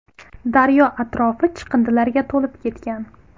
Daryo atrofi chiqindilarga to‘lib ketgan.